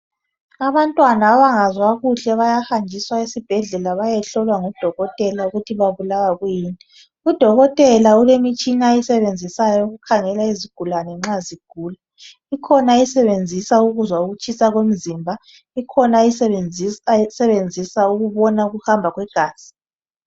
Abantwana abangazwa kuhle bayahanjiswa esibhedlela bayehlolwa ngudokotela ukuthi babulawa yini udokotela ulemitshina oyisebenzisayo eyokukhangela izigulane nxa zigula ikhona ayisebenzisa ukuzwa ukutshisa komzimba ikhona ayisebenzisa ukubona ukuhamba kwegazi.